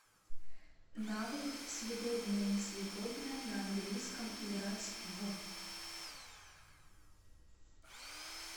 навык съедобное несъедобное на английском играть в